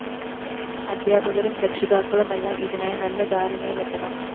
അധ്യാപകരും രക്ഷിതാക്കളുമെല്ലാം ഇതിനായി നല്ല ധാരണയിലെത്തണം